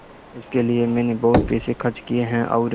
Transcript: इसके लिए मैंने बहुत पैसे खर्च किए हैं और